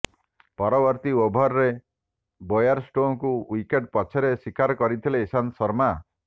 ପରବର୍ତ୍ତୀ ଓଭରରେ ବେୟାରଷ୍ଟୋଙ୍କୁ ୱିକେଟ ପଛରେ ଶିକାର କରିଥିଲେ ଇଶନ୍ତ ଶର୍ମା